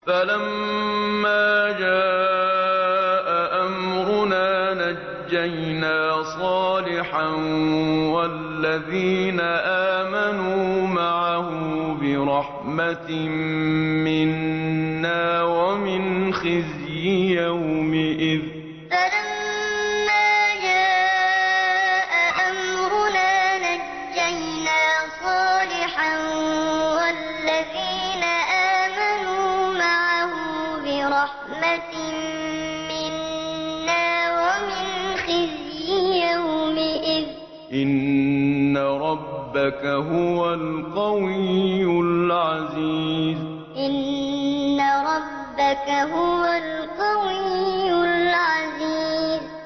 فَلَمَّا جَاءَ أَمْرُنَا نَجَّيْنَا صَالِحًا وَالَّذِينَ آمَنُوا مَعَهُ بِرَحْمَةٍ مِّنَّا وَمِنْ خِزْيِ يَوْمِئِذٍ ۗ إِنَّ رَبَّكَ هُوَ الْقَوِيُّ الْعَزِيزُ فَلَمَّا جَاءَ أَمْرُنَا نَجَّيْنَا صَالِحًا وَالَّذِينَ آمَنُوا مَعَهُ بِرَحْمَةٍ مِّنَّا وَمِنْ خِزْيِ يَوْمِئِذٍ ۗ إِنَّ رَبَّكَ هُوَ الْقَوِيُّ الْعَزِيزُ